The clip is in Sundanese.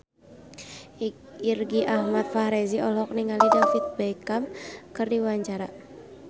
Irgi Ahmad Fahrezi olohok ningali David Beckham keur diwawancara